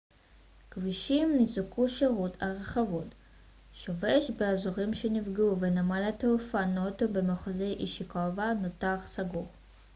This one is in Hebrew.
כבישים ניזוקו שירות הרכבות שובש באזורים שנפגעו ונמל התעופה נוטו במחוז אישיקאווה נותר סגור